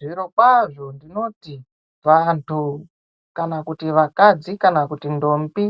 Zviro kwazo ndinoti vandu kana kuti vakadzi kana kuti ndombi